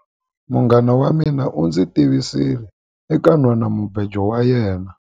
Munghana wa mina u ndzi tivisile eka nhwanamubejo wa yena.